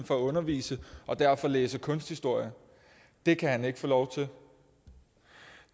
for at undervise og derfor læse kunsthistorie det kan han ikke få lov til